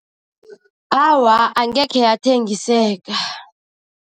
Awa, angekhe yathengiseka.